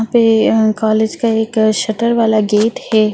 यहां पे अ कॉलेज का एक शटर वाला गेट है।